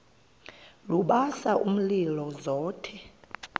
lubasa umlilo zothe